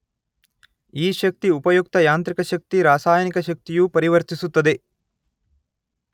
ಈ ಶಕ್ತಿ ಉಪಯುಕ್ತ ಯಾಂತ್ರಿಕ ಶಕ್ತಿ ರಾಸಾಯನಿಕ ಶಕ್ತಿಯು ಪರಿವರ್ತಿಸುತ್ತದೆ